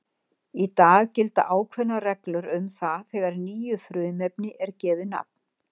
Í dag gilda ákveðnar reglur um það þegar nýju frumefni er gefið nafn.